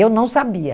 Eu não sabia.